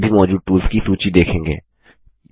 आप सभी मौजूद टूल्स की सूची देखेंगे